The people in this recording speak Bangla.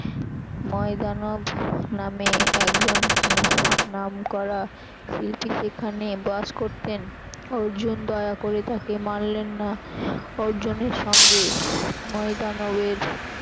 ময়দানব নামে একজন নাহ~ নামকরা শিল্পী সেখানে বাস করতেন অর্জুন দয়া করে তাকে মারলেন না অর্জুনের সঙ্গে ময়দানবের